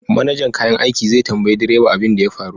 Manajan kayan aiki zai tambayi direba abin da ya faru